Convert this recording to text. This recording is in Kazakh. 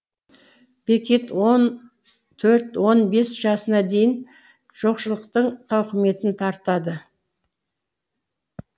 бекет он төрт он бес жасына дейін жоқшылықтың тауқыметін тартады